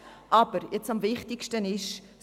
Das Wichtigste ist Folgendes: